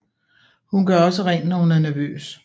Hun gør også rent når hun er nervøs